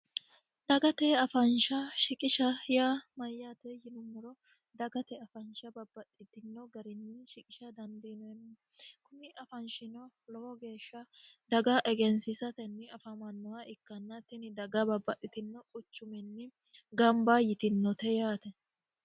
dagate afaansha shiqishahya mayyate yinummuro dagate afaansha babbaxitino garinni shiqisha dandiinoenni kuni afaanshino lowo geeshsha daga egensiisatenni afamannoha ikkannattini daga babbaxhitino quchuminni gamba yitinote yaate